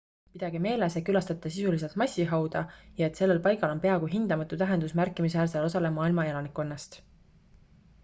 pidage meeles et külastate sisuliselt massihauda ja et sellel paigal on peaaegu hindamatu tähendus märkimisväärsele osale maailma elanikkonnast